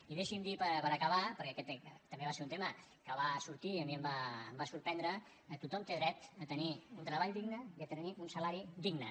i deixi’m dir per acabar perquè aquest també va ser un tema que va sortir i a mi em va sorprendre que tothom té dret a tenir un treball digne i a tenir un salari digne